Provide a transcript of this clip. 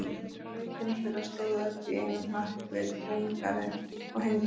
Nautin þeirra stóðu öll í einum hnapp við túngarðinn og hengdu haus.